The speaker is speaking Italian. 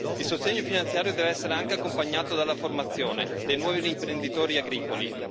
Il sostegno finanziario deve essere anche accompagnato dalla formazione dei nuovi imprenditori agricoli.